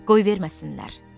"Qoy verməsinlər."